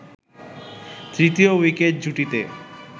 তৃতীয় উইকেট জুটিতে